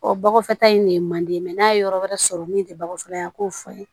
Ɔ bɔgɔfɛta in de ye manden n'a ye yɔrɔ wɛrɛ sɔrɔ min tɛ bakɔ fɔla ye a k'o fɔ n ye